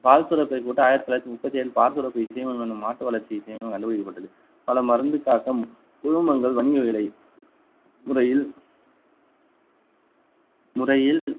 பால் சுரப்பை போட்டு ஆயிரத்தி தொள்ளாயிரத்தி முப்பத்தி ஏழில் பால் சுரப்பி இசைமம் என்னும் மாட்டு வளர்ச்சி இசைமம் கண்டு பிடிக்கப்பட்டது பல மருந்துக்காகவும் உழுமங்கள் வணிக விலை முறையில் முறையில்